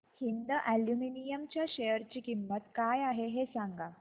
Hind aluminium च्या share ची किंमत काय आहे हे सांगा